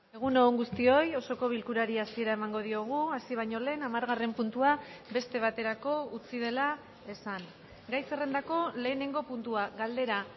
egun on guztioi osoko bilkurari hasiera emango diogu hasi baino lehen hamargarren puntua beste baterako utzi dela esan gai zerrendako lehenengo puntua galdera